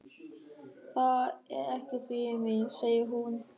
Það er ekkert fyrir mig, segir hún.